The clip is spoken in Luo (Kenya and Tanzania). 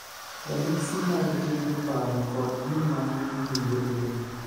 ranyisi mag timbe, paro, kod gima iwinjo e del